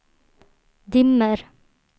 dimmer